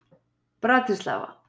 Bratislava